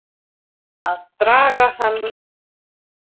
Að draga hann hingað.